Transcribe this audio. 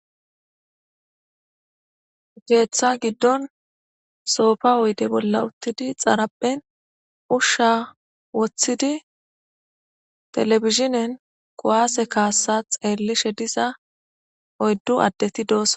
Keththa giddon soopa oydde bolla uuttidii xaraphphen uushsha woththidi televizinen kuwase kasa xellishe oyddu addetti dossonna